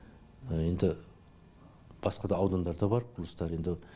енді басқа да аудандарда бар құрылыстар енді